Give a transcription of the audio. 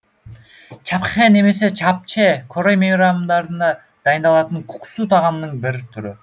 чапчхэ немесе чапче корей мейрамдарында дайындалатын куксу тағамының бір түрі